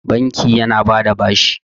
banki yana ba da bashi